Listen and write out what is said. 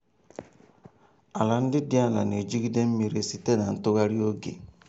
ala ndị dị ala na-ejigide mmiri site na ntụgharị oge.